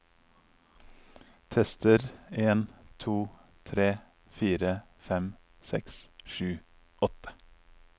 Tester en to tre fire fem seks sju åtte